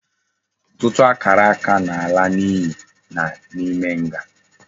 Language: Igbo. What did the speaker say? Ututu akaraka na ala na iyi na ime nga